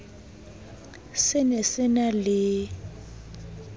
se ne se na le